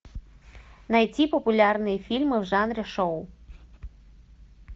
найти популярные фильмы в жанре шоу